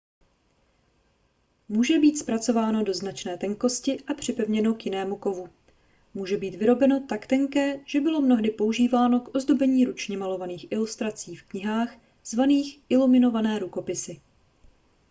může být zpracováno do značné tenkosti a připevněno k jinému kovu může být vyrobeno tak tenké že bylo mnohdy používáno k ozdobení ručně malovaných ilustrací v knihách zvaných iluminované rukopisy